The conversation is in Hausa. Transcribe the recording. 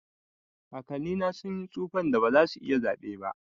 kakanni na sun tsufan da ba za su iya zaɓe ba.